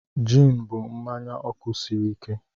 Jịn bụ mmanya ọkụ sịrị ike.